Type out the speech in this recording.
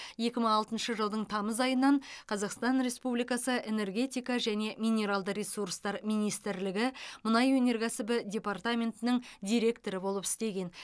екі мың алтыншы жылдың тамыз айынан қазақстан республикасы энергетика және минералды ресурстар министрлігі мұнай өнеркәсібі департаментінің директоры болып істеген